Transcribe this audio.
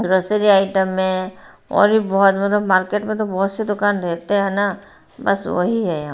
रसीली आइटम में और भी बहोत बड़ा मार्केट में तो बहोत सी दुकान रहते हैं ना बस वही है यहां--